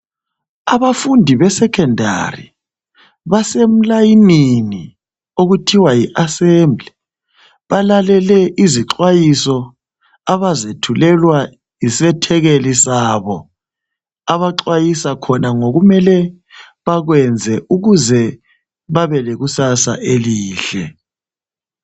Abafundi be secondary base mlayinini okuthiwa yi assembly balalele izixwayiso abazethulelwayo yisethekeli sabo abaxwayisa khona ngokumele bakwenze ukuze babe lekusasa elihle.